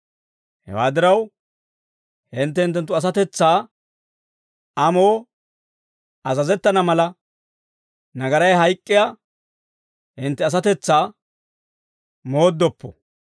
Hewaa diraw, hintte hinttenttu asatetsaa amoo azazettana mala, nagaray hayk'k'iyaa hintte asatetsaa mooddoppo.